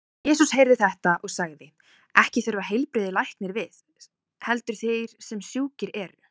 Jesús heyrði þetta og sagði: Ekki þurfa heilbrigðir læknis við, heldur þeir sem sjúkir eru.